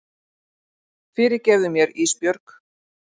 Fyrirgefðu mér Ísbjörg.